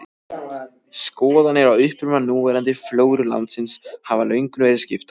Skoðanir á uppruna núverandi flóru landsins hafa löngum verið skiptar.